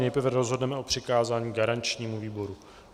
Nejprve rozhodneme o přikázání garančnímu výboru.